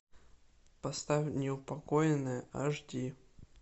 поставь неупокоенные аш ди